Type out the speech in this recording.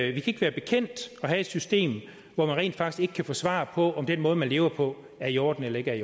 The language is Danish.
ikke være bekendt at have et system hvor man rent faktisk ikke kan få svar på om den måde man lever på er i orden eller ikke